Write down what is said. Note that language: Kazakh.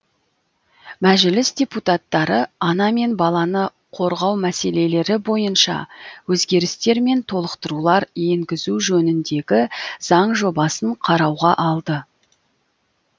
мәжіліс депутаттары ана мен баланы қорғау мәселелері бойынша өзгерістер мен толықтырулар енгізу жөніндегі заң жобасын қарауға алды